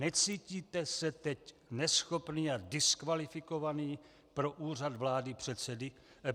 Necítíte se teď neschopný a diskvalifikovaný pro úřad předsedy vlády?"